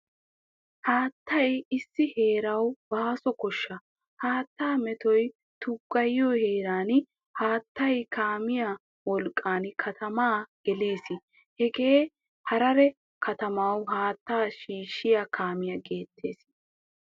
Haattaay issi heeraawu baaso koshsha. Haatta meettoy tugayiyo heeran haattaay kaamiya wolqqan kattamaa gelees. Hagee Harare kattamawu haattaa shiishiyaa kaamiyaa gettettees.